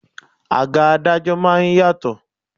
Àga adájọ́ máa ń yàtọ̀.